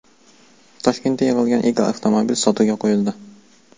Toshkentda yig‘ilgan ilk avtomobil sotuvga qo‘yildi.